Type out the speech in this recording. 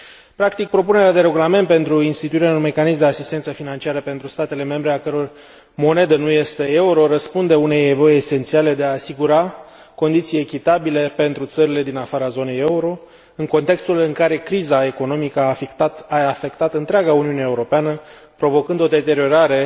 Practic, propunerea de regulament pentru instituirea unui mecanism de asistență financiară pentru statele membre a căror monedă nu este euro răspunde unei nevoi esențiale de a asigura condiții echitabile pentru țările din afara zonei euro, în contextul în care criza economică a afectat întreaga Uniune Europeană, provocând o deteriorare